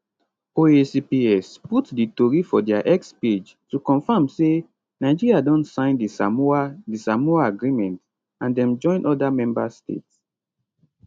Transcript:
oacps put di tori for dia x page to confam say nigeria don sign di samoa di samoa agreement and dem join oda members states